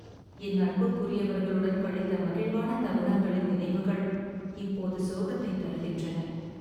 என் அன்புக்குரியவர்களுடன் கழித்த மகிழ்வான தருணங்களின் நினைவுகள் இப்போது சோகத்தைத் தருகின்றன